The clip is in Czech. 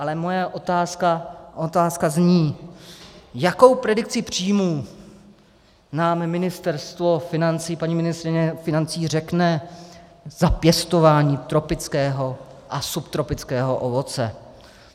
Ale moje otázka zní: Jakou predikci příjmů nám Ministerstvo financí, paní ministryně financí, řekne za pěstování tropického a subtropického ovoce?